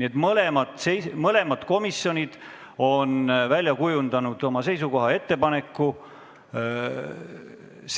Nii et mõlemad komisjonid on oma seisukoha välja kujundanud ja teinud ettepaneku